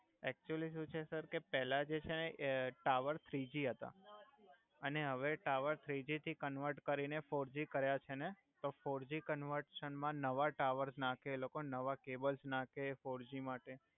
actually સુ છે sir કે પેહ્લા જે સે ને એ ટાવર થ્રીજી હતા અને હવે ટાવર થ્રિજી થી કન્વાર્ટ કરી ને ફોરજી કર્યા છે ને તો ફોરજી કન્વાર્ટસન મા નવા ટાવર નાખે એ લોકોન નવા કેબલ્સ નાખે ફોરજી માટે